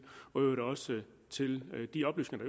og i øvrigt også til de oplysninger